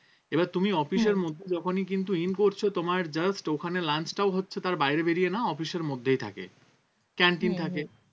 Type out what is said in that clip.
এবার তুমি office এর মধ্যে যখনই কিন্তু in করছো তোমার just ওখানে lunch টাও হচ্ছে তার বাইরে বেরিয়ে না office এর মধ্যেই থাকে canteen থাকে